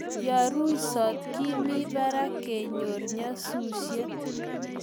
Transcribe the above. yoruisot Kimi barak kenyor nyasusiet